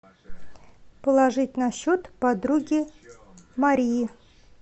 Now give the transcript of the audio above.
положить на счет подруге марии